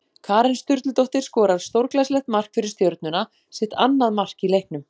Karen Sturludóttir skorar stórglæsilegt mark fyrir Stjörnuna, sitt annað mark í leiknum!